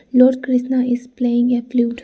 Lord krishna is playing a flute.